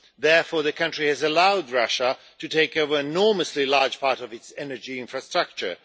Therefore, the country has allowed Russia to take over an enormously large part of its energy infrastructure.